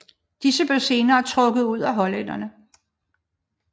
Disse blev senere trukket ud af hollænderne